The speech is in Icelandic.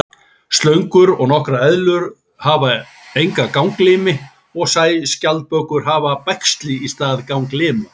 Slöngur og nokkrar eðlur hafa enga ganglimi og sæskjaldbökur hafa bægsli í stað ganglima.